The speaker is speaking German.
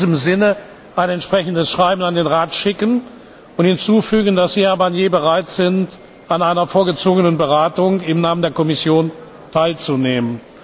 Ich werde in diesem Sinne ein entsprechendes Schreiben an den Rat schicken und hinzufügen, dass Sie, Herr Barnier, bereit sind, an einer vorgezogenen Beratung im Namen der Kommission teilzunehmen.